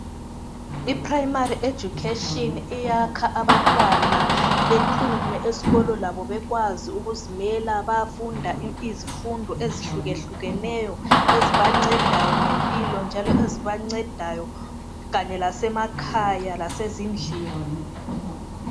IPrimary Education iyakha abantwana bephume esikolo labo bekwazi ukuzimela bayafunda izifundo ezihlukehlukeneyo ezibancedayo ngempilo njanlo ezibancedayo kanye lasemakhaya lasezindlini.